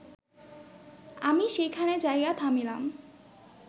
আমি সেইখানে যাইয়া থামিলাম